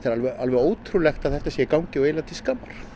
er alveg ótrúlegt að þetta sé í gangi og eiginlega til skammar